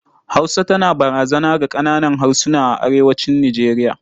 Hausa tana barazana ga ƙananan harsuna a arewacin Nijeriya.